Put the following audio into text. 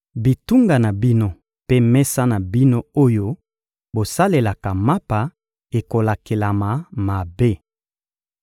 Bitunga na bino mpe mesa na bino oyo bosalelaka mapa ekolakelama mabe.